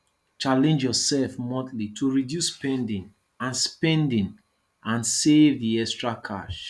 challenge yourself monthly to reduce spending and spending and save the extra cash